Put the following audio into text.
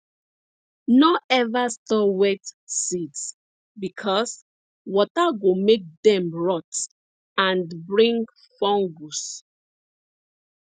no ever store wet seeds because water go make dem rot and and bring fungus